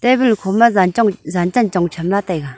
table kho ma yan chong yan chen chong tham lah taega.